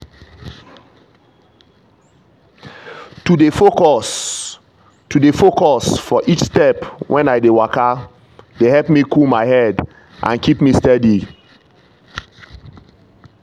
to dey focus to dey focus for each step when i dey waka dey help me cool my head and keep steady.